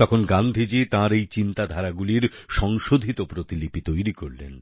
তখন গান্ধীজী তাঁর এই চিন্তাধারাগুলির সংশোধিত প্রতিলিপি তৈরি করলেন